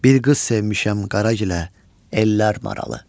Bir qız sevmişəm Qaragilə, ellər maralı.